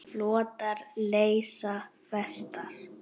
Flotar leysa festar.